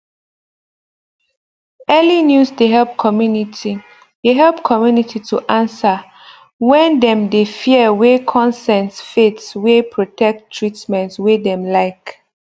early news de help community de help community to answer when dem de fear wey consent faith wey protect treatment wey dem like